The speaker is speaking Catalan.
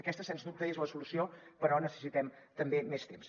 aquesta sens dubte és la solució però necessitem també més temps